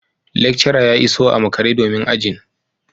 Lecturer ya iso a makare domin ajin